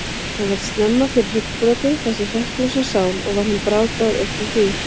Hann varð snemma fyrir hryggbroti, þessi hrekklausa sál, og var hann brákaður upp frá því.